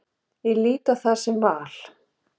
Ég lít á það sem val.